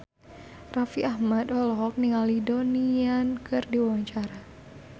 Raffi Ahmad olohok ningali Donnie Yan keur diwawancara